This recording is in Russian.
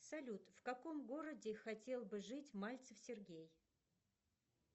салют в каком городе хотел бы жить мальцев сергей